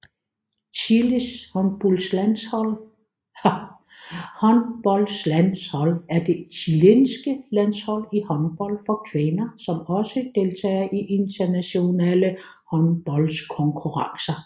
Chiles håndboldlandshold er det chilenske landshold i håndbold for kvinder som også deltager i internationale håndboldkonkurrencer